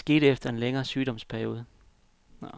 Det skete efter en længere sygeperiode.